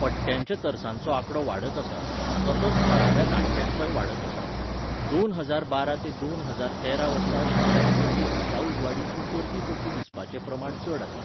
पट्यांच्या तरसांचोआंकडो वाडत आसा, तसोच थळाव्या लांडग्यांचोय वाडत आसा, दोन हजार बारा ते दोन हजार तेरा वर्सा शिंया दिसांनी दिसा उजवाडीं तीं परतीं परतीं दिसपाचें प्रमाण चड आसा.